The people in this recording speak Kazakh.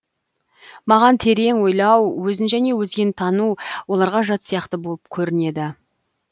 маған терең ойлау өзін және өзгені тану оларға жат сияқты болып көрінеді